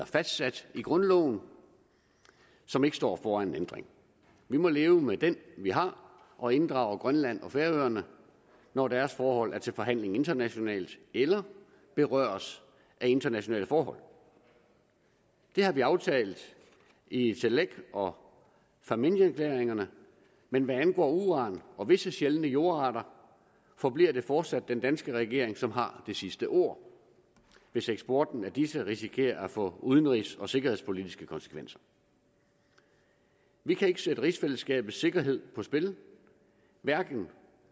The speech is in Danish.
fastsat i grundloven som ikke står foran en ændring vi må leve med den vi har og inddrage grønland og færøerne når deres forhold er til forhandling internationalt eller berøres af internationale forhold det har vi aftalt i itilleq og fámjinerklæringerne men hvad angår uran og visse sjældne jordarter forbliver det fortsat den danske regering som har det sidste ord hvis eksporten af disse risikerer at få udenrigs og sikkerhedspolitiske konsekvenser vi kan ikke sætte rigsfællesskabets sikkerhed på spil hverken